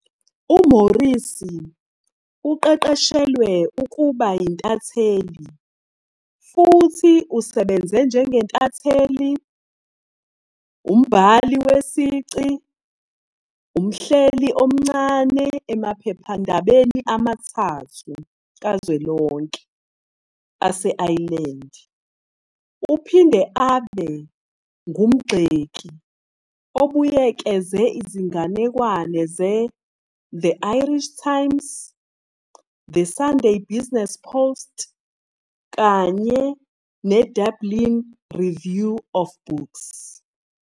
UMorrissy uqeqeshelwe ukuba yintatheli futhi usebenze njengentatheli, umbhali wesici, umhleli omncane emaphephandabeni amathathu kazwelonke ase-Ireland. Uphinde abe ngumgxeki obuyekeze izinganekwane zeThe "Irish Times", "The Sunday Business Post", kanye "ne-Dublin Review of Books".